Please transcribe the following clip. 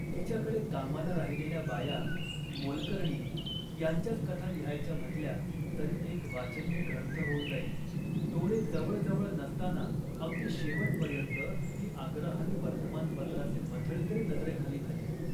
तिच्याकडे कामाला राहिलेल्याबाया, मोलकरणी यांच्याच कथा लिहायच्या म्हटल्या तरी एक वाचनीय ग्रंथ होऊन जाईल. डोळे जवळ जवळ नसताना अगदी शेवटपर्यंत ती आग्रहाने वर्तमानपत्राचे मथळेतरी नजरेखाली घाली